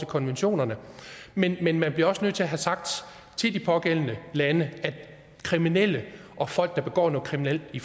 konventionerne men men man bliver også nødt til at få sagt til de pågældende lande at kriminelle og folk der begår noget kriminelt i